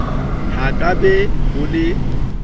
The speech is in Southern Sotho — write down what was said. ho ka be ho le